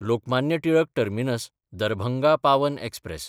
Lokmanya Tilak टर्मिनस–दरभंगा Pawan express